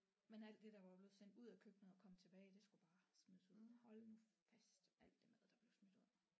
Men alt det der var blevet sendt ud af køkkenet og kom tilbage det skulle bare smides ud hold nu fast alt det mad der blev smidt ud